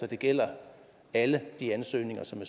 det gælder alle de ansøgninger som